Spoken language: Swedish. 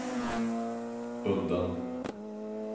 undan